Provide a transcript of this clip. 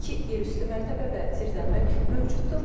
İki yerüstü mərtəbə və zirzəmi mövcuddur.